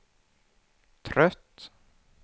trött